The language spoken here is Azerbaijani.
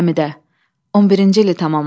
Həmidə, 11-ci ili tamam oldu.